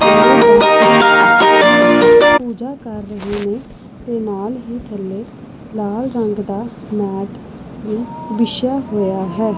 ਪੂਜਾ ਕਰ ਰਹੇ ਨੇ ਤੇ ਨਾਲ ਹੀ ਥੱਲੇ ਲਾਲ ਰੰਗ ਦਾ ਮੈਟ ਵੀ ਵਿਛਿਆ ਹੋਇਆ ਹੈ।